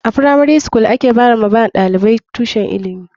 A firamari skul a ke ba wa ɗalibai tushen ilimi.